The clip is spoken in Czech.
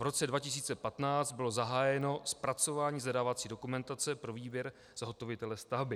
V roce 2015 bylo zahájeno zpracování zadávací dokumentace pro výběr zhotovitele stavby.